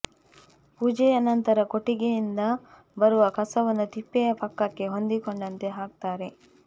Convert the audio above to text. ಪೂಜೆಯ ನಂತರ ಕೊಟ್ಟಿಗೆಯಿಂದ ಬರುವ ಕಸವನ್ನು ತಿಪ್ಪೆಯ ಪಕ್ಕಕ್ಕೆ ಹೊಂದಿಕೊಂಡಂತೆ ಹಾಕುತ್ತಾರೆ